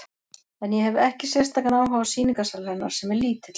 En ég hefi ekki sérstakan áhuga á sýningarsal hennar, sem er lítill.